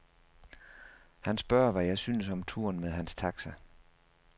Han spørger, hvad jeg synes om turen med hans taxa.